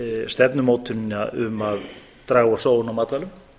stefnumótunina um að draga úr sóun á matvælum